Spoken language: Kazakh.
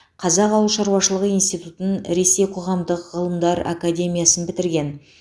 қазақ ауыл шаруашылығы институтын ресей қоғамдық ғылымдар академиясын бітірген